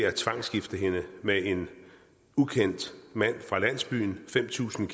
at tvangsgifte hende med en ukendt mand fra landsbyen fem tusind